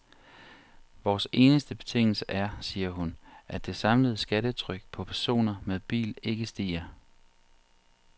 Vores eneste betingelse er, siger hun, at det samlede skattetryk på personer med bil ikke stiger.